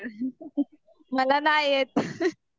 मला नाय येत.